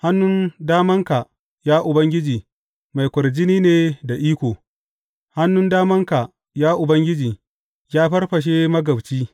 Hannun damanka, ya Ubangiji, Mai kwarjini ne da iko, hannun damanka, ya Ubangiji, ya farfashe magabci.